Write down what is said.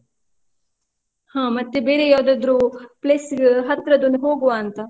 ಹ ಮತ್ತೆ ಬೇರೆ ಯಾವದಾದ್ರು place ಹತ್ರದೊಂದು ಹೋಗುವ ಅಂತ.